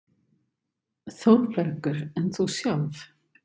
ÞÓRBERGUR: En þú sjálf?